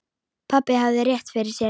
Pabbi hafði rétt fyrir sér.